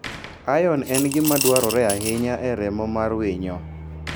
Iron en gima dwarore ahinya e remo mar winyo.